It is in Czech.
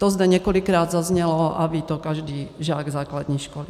To zde několikrát zaznělo a ví to každý žák základní školy.